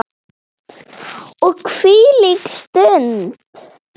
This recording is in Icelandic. Og hvílík stund!